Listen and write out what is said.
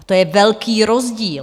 A to je velký rozdíl.